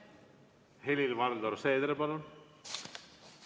Helir-Valdor Seeder, palun!